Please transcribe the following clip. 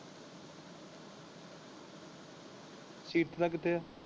ਦਾ ਕਿੱਥੇ ਹੈ?